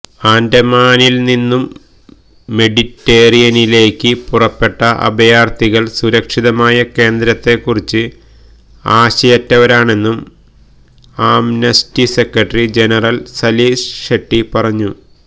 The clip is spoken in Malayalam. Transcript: ആന്ഡമാനില് നിന്നും മെഡിറ്റേറേനിയനിലേക്ക് പുറപ്പെട്ട അഭയാര്ഥികള് സുരക്ഷിതമായ കേന്ദ്രത്തെകുറിച്ച് ആശയറ്റവരാണെന്നും Amnesty secretary general Salil Shetty പറഞ്ഞു